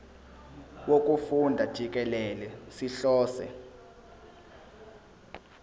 wokufunda jikelele sihlose